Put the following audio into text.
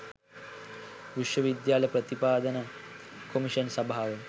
විශ්ව විද්‍යාල ප්‍රතිපාදන කොමිෂන් සභාව